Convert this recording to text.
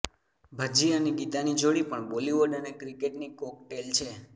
ભજ્જી અને ગીતાની જોડી પણ બોલિવૂડ અને ક્રિકેટની કોકટેલ છે